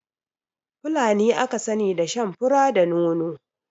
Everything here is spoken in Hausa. Fulani aka sani da shan fura da nono